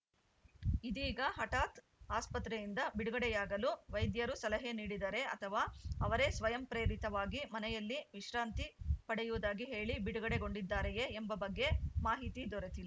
ಇದೀಗ ಹಠಾತ್‌ ಆಸ್ಪತ್ರೆಯಿಂದ ಬಿಡುಗಡೆಯಾಗಲು ವೈದ್ಯರು ಸಲಹೆ ನೀಡಿದರೇ ಅಥವಾ ಅವರೇ ಸ್ವಯಂ ಪ್ರೇರಿತವಾಗಿ ಮನೆಯಲ್ಲಿ ವಿಶ್ರಾಂತಿ ಪಡೆಯುವುದಾಗಿ ಹೇಳಿ ಬಿಡುಗಡೆಗೊಂಡಿದ್ದಾರೆಯೇ ಎಂಬ ಬಗ್ಗೆ ಮಾಹಿತಿ ದೊರೆತಿಲ್